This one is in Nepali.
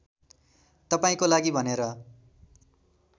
तपाईँको लागि भनेर